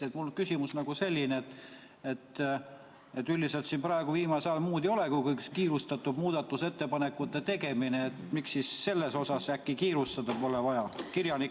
Mul on selline küsimus: kui meil üldiselt viimasel ajal muud ei olegi kui kiirustades muudatusettepanekute tegemine, siis miks meil sellega äkki kiirustada pole vaja?